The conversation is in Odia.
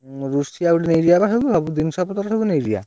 ରୋଷେଇଆ ଗୋଟେ ନେଇଯିବା ବା ସେଇଠୁ ସବୁ ଜିନିଷ ପତ୍ର ସବୁ ନେଇଯିବା।